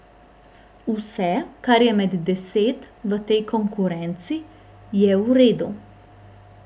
Vse, kar je med deset v tej konkurenci, je v redu.